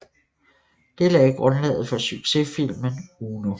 Det lagde grundlaget for sucsessfilmen Uno